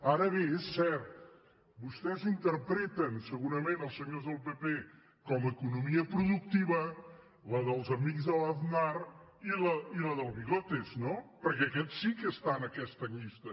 ara bé és cert vostès interpreten segurament els senyors del pp com economia productiva la dels amics de l’aznar i la del bigotes no perquè aquests sí que estan a aquesta llista